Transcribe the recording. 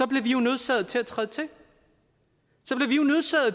bliver vi jo nødsaget til at træde til